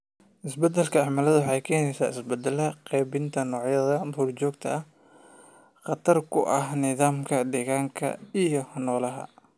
Isbeddelka cimiladu waxay keenaysaa isbeddelada qaybinta noocyada duur-joogta, khatar ku ah nidaamka deegaanka iyo noolaha.